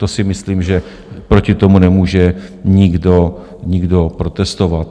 To si myslím, že proti tomu nemůže nikdo protestovat.